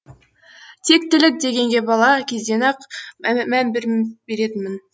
тектілік дегенге бала кезден ақ мән беретінмін